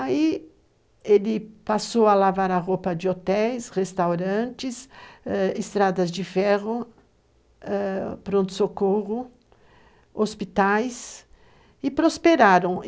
Aí ele passou a lavar a roupa de hotéis, restaurantes, ãh, estradas de ferro, ãh, pronto-socorro, hospitais e prosperaram.